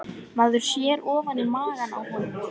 Maður sér ofan í maga á honum